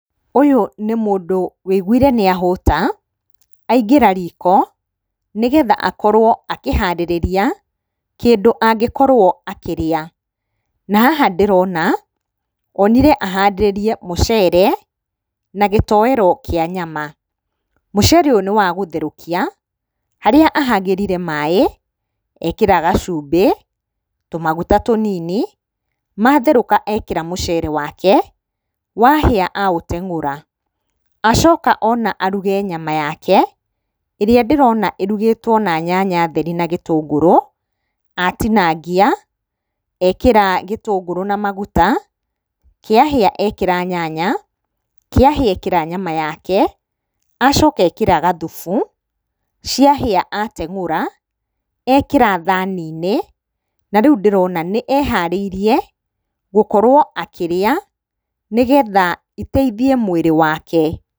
Ũyũ nĩ mũndũ wũiguire nĩahũta aingĩra riko nĩgetha akorwo akĩharĩrĩria kĩndũ angĩkorwo akĩrĩa. Na haha ndĩrona onire aharĩrĩrie mũcere na gĩtoero kĩa nyama. Mũcere ũyũ nĩwagũtherũkia harĩa ahagĩrire maaĩ ekĩra gacumbĩ tũmaguta tũnini matherũka ekĩra mũcere wake wahĩa auteng'ũra. Acoka ona aruge nyama yake ĩrĩa ndĩrona ĩrugĩtwo na nyanya theri na gĩtũngũrũ. Atinangia ekĩra gĩtũngũrũ na maguta kĩahĩa ekĩra nyanya, kĩahĩa ekĩra nyama yake acoka ekĩra gathufu, ciahĩa ateng'ura ekĩra thani-inĩ na rĩu ndĩrona nĩeharĩirie gũkorwo akĩrĩa nĩgetha iteithie mwĩrĩ wake.